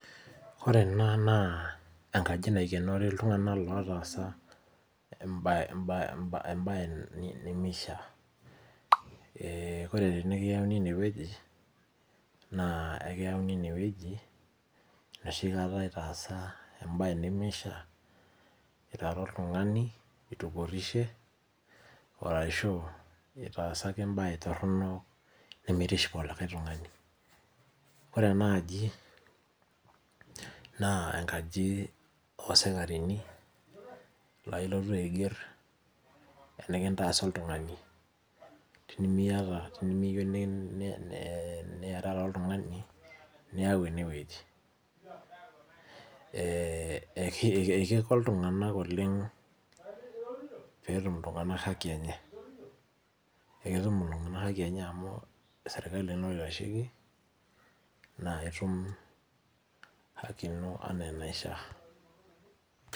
Ore ena naa enkaji naikenori iktung'anak lotaasa embaye emba emba embaye ni nimishaa. Ee ore tenikiyauni ene wueji naa ekiyauni ine wueji enoshi kata itaasa embaye nemishaa, itara oltung'ani, itupurishe oo arashu itaasa ake embaye torono nemitiship olikia tung'ani. Ore ena aji naa enkaji oo sikarini naa ilotu aiger enekintaasa oltung'ani tenimiyata tenimiyiu ni ni niarara ooltung'ani niyau ene wueji. Ee ee kiko kiko iltung'anak oleng' peetum iltung'anak haki enye. Eketum iltung'anak haki enye amu serkali naa oitasheki naa itum haki ino naa enaishaa.